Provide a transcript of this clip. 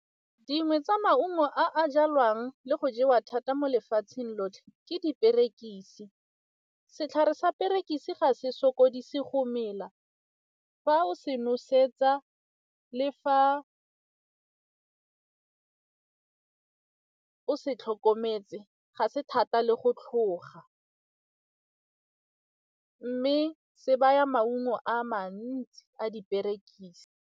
Dingwe tsa maungo a jalwang le go jewa thata mo lefatsheng lotlhe ke diperekise, setlhare sa perekise ga se sokodise go mela, fa o se nosetsa le fa o se tlhokometse ga se thata le go tlhoga mme se baya maungo a mantsi a diperekise.